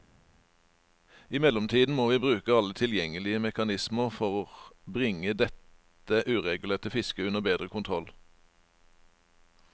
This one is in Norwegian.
I mellomtiden må vi bruke alle tilgjengelige mekanismer for bringe dette uregulerte fisket under bedre kontroll.